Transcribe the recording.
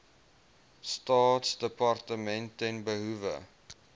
staatsdepartement ten behoewe